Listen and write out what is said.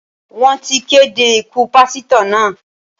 Wọ́n ti kéde ikú Pásítọ̀ náà.